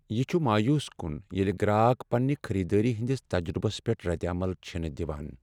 یہ چھ مایوس کن ییٚلہ گراک پنٛنہِ خریدٲری ہنٛدس تجربس پیٹھ ردعمل چھنہٕ دوان۔